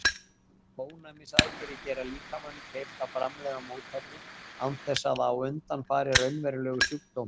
Ónæmisaðgerðir gera líkamanum kleift að framleiða mótefni án þess að á undan fari raunverulegur sjúkdómur.